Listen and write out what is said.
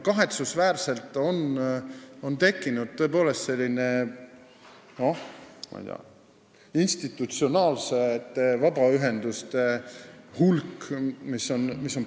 Kahetsusväärselt on tõepoolest tekkinud päris suur institutsionaalsete vabaühenduste hulk, mis aina kasvab.